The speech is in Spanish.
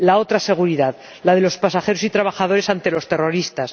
La otra seguridad, la de los pasajeros y trabajadores ante los terroristas.